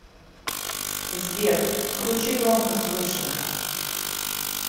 сбер включи громкость выше